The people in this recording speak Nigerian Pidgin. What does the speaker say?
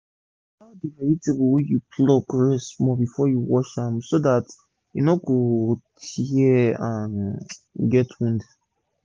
dey allow d vegetable wey you plug rest small before you wash am so dat e no go tear or get wound